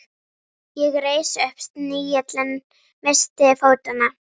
Ég reis upp, snigillinn missti fótanna.